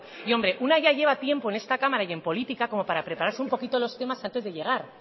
y hombre una ya lleva tiempo en esta cámara y en política como para preparase un poquito los temas antes de llegar